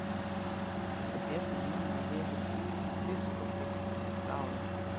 Ég sé það núna að ég hef búið í diskóteki síðustu árin.